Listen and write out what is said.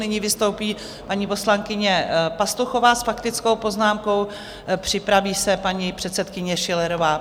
Nyní vystoupí paní poslankyně Pastuchová s faktickou poznámkou, připraví se paní předsedkyně Schillerová.